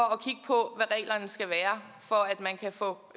at reglerne skal være for at man kan få